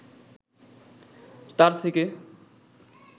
তার থেকে